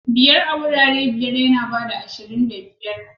Biyar a wurare biyar yana ba da ashirin da biyar.